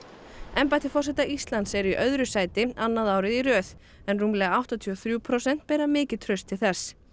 embætti forseta Íslands er í öðru sæti annað árið í röð en rúmlega áttatíu og þrjú prósent bera mikið traust til þess